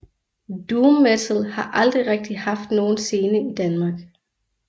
Doom metal har aldrig rigtig haft nogen scene i Danmark